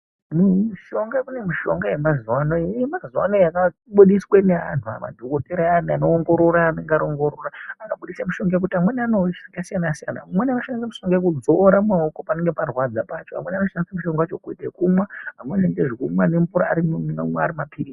Mushonga kunemishonga yemazuwano ,yemazuwanaya yakabudiswe neanhu madhokodhera ayani anoongorora anenge aongorora anobudise mushonga yekut amweni anoushandisa zvakasiyana siyana. Umweni unoshandise mushonga yekudzora mumaoko panenge parwadza pacho, vamweni vano shandise mushonga wacho kuite kumwa vamweni vanoite zvekumwa nemvura arima purizi.